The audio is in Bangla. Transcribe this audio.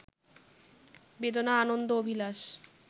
বেদনা-আনন্দ-অভিলাষ